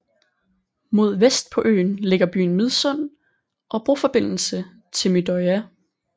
Mod vest på øen ligger byen Midsund og broforbindelse til Midøya